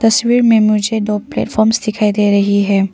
तस्वीर में मुझे दो प्लेटफॉर्म्स दिखाई दे रही है।